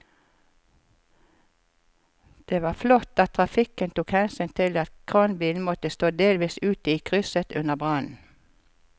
Det var flott at trafikken tok hensyn til at kranbilen måtte stå delvis ute i krysset under brannen.